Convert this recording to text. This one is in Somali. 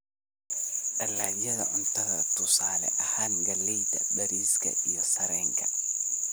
Dalagyada cuntada: tusaale ahaan, galleyda, bariiska, sarreenka.